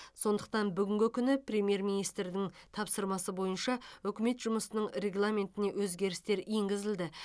сондықтан бүгінгі күні премьер министрдің тапсырмасы бойынша үкімет жұмысының регламентіне өзгерістер енгізілді